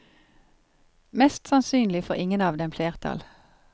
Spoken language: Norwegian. Mest sannsynlig får ingen av dem flertall.